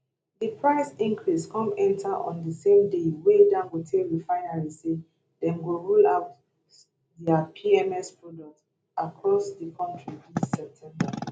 di price increase come enta on di same day wey dangote refinery say dem go roll out dia pms product across di kontri dis september